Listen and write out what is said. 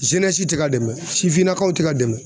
zenɛsi te ka dɛmɛ sifinnakaw te ka dɛmɛ